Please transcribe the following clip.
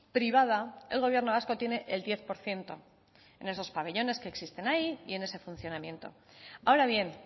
privada el gobierno vasco tiene el diez por ciento en esos pabellones que existen ahí y en ese funcionamiento ahora bien